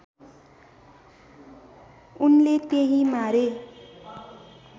उनले त्यहीँ मारे